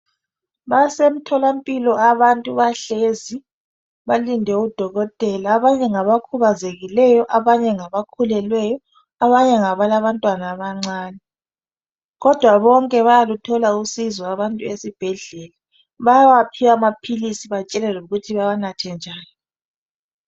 Basemtholampilo abantu bahlezi, balinde udokotela. Abanye ngabakhubazekileyo, abanye ngabakhulelweyo, abanye ngabalabantwana abancane kodwa bonke bayaluthola usizo abantu esibhedlela, bayawaphiwa amaphilisi batshelwe lokuthi bawanathe njani.